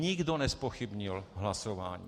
Nikdo nezpochybnil hlasování.